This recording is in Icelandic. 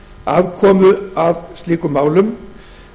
aðkomu að slíkum málum